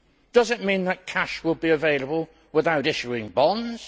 Does it mean that cash will be available without issuing bonds?